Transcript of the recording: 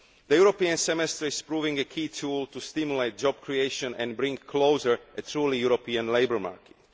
The European Semester is proving a key tool to stimulate job creation and to bring closer a truly European labour